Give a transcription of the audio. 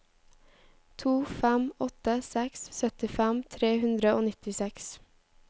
to fem åtte seks syttifem tre hundre og nittiseks